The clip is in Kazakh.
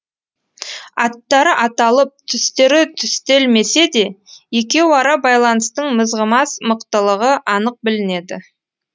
аттары аталып түстері түстелмесе де екеуара байланыстың мызғымас мықтылығы анық білінеді